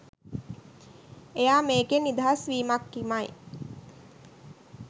එයා මේකෙන් නිදහස් වීමක්මයි